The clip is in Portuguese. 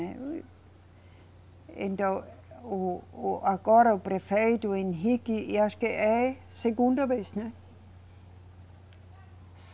Né, então, o, o, agora o prefeito Henrique e acho que é a segunda vez, né.